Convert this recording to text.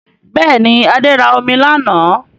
Bẹ́ẹ̀ni, Adé ra omi lánàá